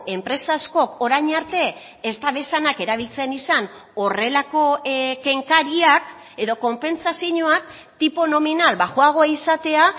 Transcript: enpresa askok orain arte ez dabezanak erabiltzen izan horrelako kenkariak edo konpentsazioak tipo nominal baxuagoa izatea